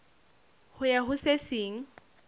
ho ya ho se seng